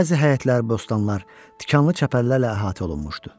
Bəzi həyətlər, bostanlar tikanlı çəpərlərlə əhatə olunmuşdu.